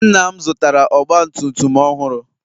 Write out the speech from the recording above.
Nna'm zụtara ọgba tum tum ọhụrụ.